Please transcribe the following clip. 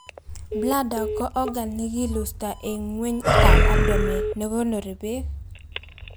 bladder ko organ nekilusto en ngweny itab abdomen nekonori beek